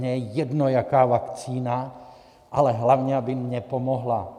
Mně je jedno, jaká vakcína, ale hlavně, aby mně pomohla.